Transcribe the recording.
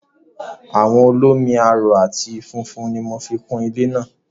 Àwọ̀ olómi-aró àti funfun ni mo fi kun ilé mi.